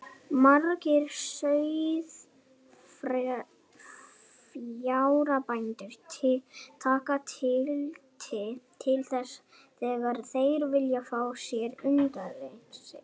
Margir sauðfjárbændur taka tillit til þess þegar þeir velja fé til undaneldis.